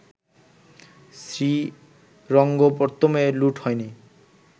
শ্রীরঙ্গপত্তমে লুট হয়নি